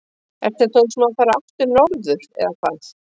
Ertu þá að hugsa um að fara aftur norður eða hvað?